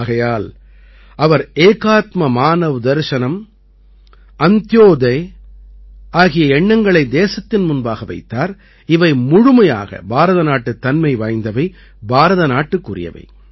ஆகையால் அவர் ஏகாத்ம மானவ்தர்சனம் அந்த்யோதய் ஆகிய எண்ணங்களை தேசத்தின் முன்பாக வைத்தார் இவை முழுமையாக பாரத நாட்டுத் தன்மை வாய்ந்தவை பாரத நாட்டுக்குரியவை